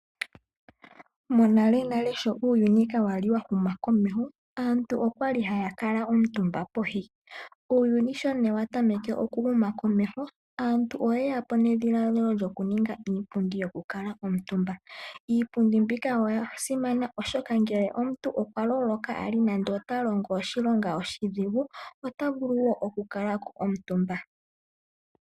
Monalenale sho uuyuni ka wali wa huma komeho, aantu okwali haya kala omutumba pohi. Uuyuni sho ne wa tameke oku huma komeho aantu oye yapo nedhiladhilo lyoku ninga iipundi yoku kala omutumba. Iipundi mbika oya simana oshoka ngele omuntu okwa loloka ali nande ota longo oshilonga oshidhigu ota vulu oku kala ko omutumba.